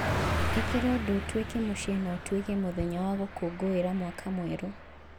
ĩkĩra ũndũ ũtuĩke mũciĩ na ũtuĩke mũthenya wa gũkũngũĩra Mwaka Mwerũ.